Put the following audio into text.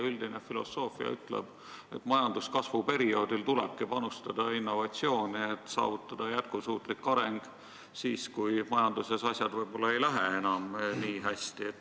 Üldine filosoofia ütleb, et majanduskasvu perioodil tulebki panustada innovatsiooni, et saavutada jätkusuutlik areng siis, kui majanduses asjad võib-olla ei lähe enam nii hästi.